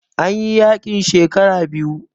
An yi yaƙin shekara biyu